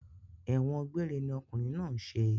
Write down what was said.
Ẹ̀wọ̀n gbéére ni okùnrin náà ń ṣe